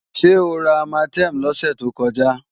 Ṣé o ra Armatem lọ́sẹ̀ tó kọjá?